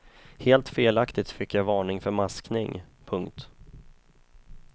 Helt felaktigt fick jag varning för maskning. punkt